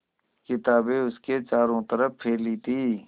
किताबें उसके चारों तरफ़ फैली थीं